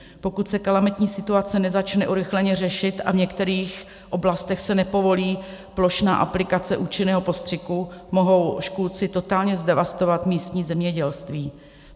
Pokud se kalamitní situace nezačne urychleně řešit a v některých oblastech se nepovolí plošná aplikace účinného postřiku, mohou škůdci totálně zdevastovat místní zemědělství.